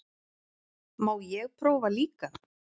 Má ég prófa líka!